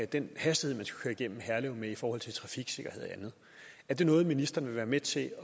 den hastighed man skulle køre igennem herlev med i forhold til trafiksikkerhed og andet er det noget ministeren vil være med til